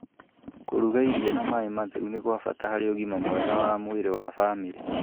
Kũruga irio na maĩ matheru nĩ kwa bata harĩ ũgima mwega wa mwĩrĩ wa famĩrĩ.